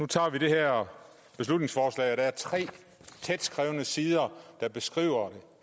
tage det her beslutningsforslag og der er tre tætskrevne sider der beskriver det